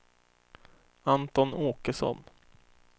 Anton Åkesson